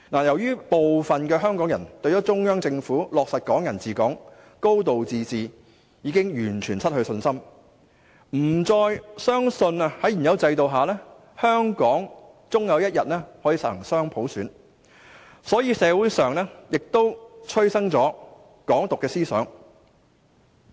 由於部分香港人對於中央政府落實"港人治港"、"高度自治"已經完全失去信心，不再相信在現有制度下，香港終有一天能夠實行雙普選，所以社會上衍生出"港獨"思想。